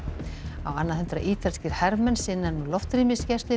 á annað hundrað ítalskir hermenn sinna nú loftrýmisgæslu yfir